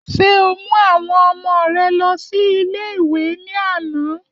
Ṣé o mú àwọn ọmọ rè lọ sí ilé ìwé ní àná?